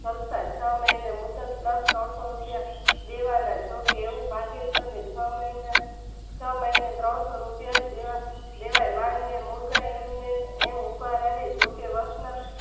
કરતા છ મહિને મુદત પ્લસ ત્રણ સો રૂપિયા દેવાના જોકે એની પાસેજ તમે છ મહિના ત્રણ સો રૂપિયા જ દેવાના એમને એમ ઉભા રહે જોકે વશ ન